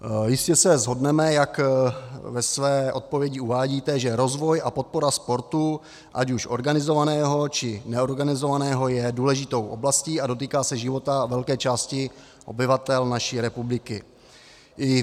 Jistě se shodneme, jak ve své odpovědi uvádíte, že rozvoj a podpora sportu, ať už organizovaného, či neorganizovaného, je důležitou oblastí a dotýká se života velké části obyvatel naší republiky.